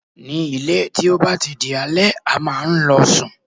Ní ilé, tí ó bá ti di alẹ́, a máa ń lọ sùn.